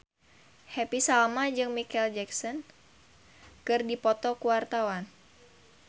Happy Salma jeung Micheal Jackson keur dipoto ku wartawan